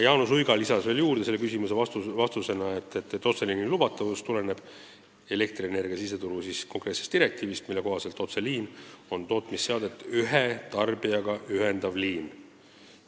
Jaanus Uiga lisas veel, et otseliini lubatavus tuleneb elektrienergia siseturu direktiivist, mille kohaselt otseliin on tootmisseadet ühe tarbijaga ühendav liin.